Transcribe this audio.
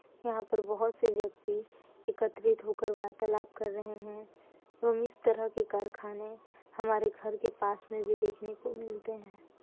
यहा पर बहुत से व्यक्ति एकत्रित होकर वार्तालाप कर रहै है एवं इस तरह के कारखाने हमारे घर के पास मे भी देखने को मिलते है।